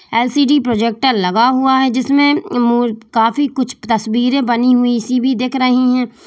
LCD projector लगा हुआ है जिसमें काफी कुछ तस्वीरें बनी हुई सी भी दिख रही है।